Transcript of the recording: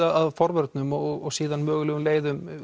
að forvörnum og svo mögulegum leiðum